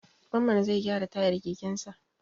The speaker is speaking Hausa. Mamman zai gyara tayar kekensa.